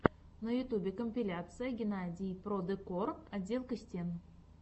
на ютюбе компиляция геннадий продекор отделка стен